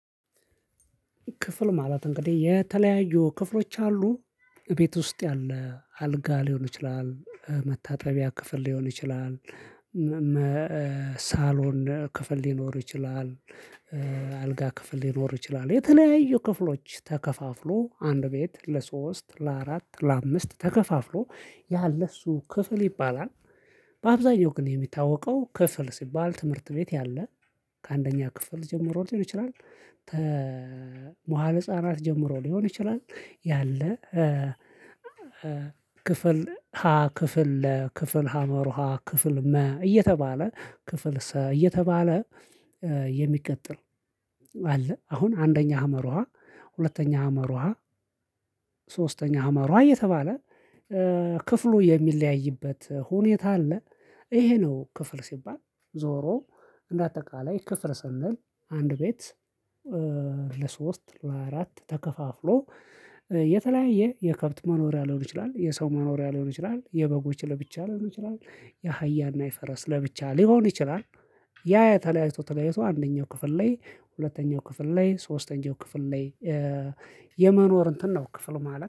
ክፍል ማለት እንግዲህ የተለያዩ ክፍሎች አሉ ቤት ውስጥ ያለ አልጋ ሊሆን ይችላል መታጠቢያ ክፍል ሊሆን ይችላል ሳሎን ክፍል ሊኖር ይችላል አልጋ ክፍል ሊኖር ይችላል የተናያዩ ክፍሎች ተከፋፍሎ አንድ ቤት ለሶስት ለአራት ለአምስት ተከፋፍሎ ያለ እሱ ክፍል ይባላል። በአብዛኛው ግን የሚታወቀው ክፍል ሲባል ትምህርት ቤት ያለ ከአንደኛ ክፍል ጀምሮ ልጅ ይችላል። ተ መዋለጻ ናት ጀምሮ ሊሆን ይችላል። ያለ ክፍል ሀ ክፍል ለ ክፍል ሀመሩ ሀ ክፍል መ እየተባለ ክፍል ሰ እየተባለ የሚቀጥል አለ። አሁን አንደኛ ሀመሩ ሀ ሁለተኛ ሀመሩ ሀ ሶስተኛ አመሩ እየተባለ ክፍሉ የሚለያይበት ሁኔታ አለ። ይሄ ነው ክፍል ሲባል ዞሮ እንደ አጠቃላይ ክፍል ሰንል አንድ ቤት። ለሶስት ለአራት ተከፋፍሎ የተለያየ የከብት መኖሪያ ሊሆን ይችላል የሰው መኖሪያ ሊሆን ይችላል የበጎች ለብቻ ሊሆን ይችላል የአህያና የፈረስ ለብቻ ሊሆን ይችላል። ያ ያ ተለያይቶ ተለያይቶ አንደኛው ክፍል ላይ ሁለተኛው ክፍል ላይ ሶስተኛው ክፍል ላይ የመኖር እንትን ነው ክፍል ማለት